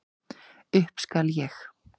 Upp skal ég.